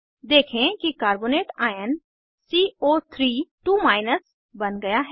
देखें कि carbonate ion सीओ32 बन गया है